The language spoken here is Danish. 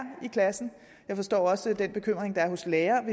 i klassen jeg forstår også den bekymring der er hos lærerne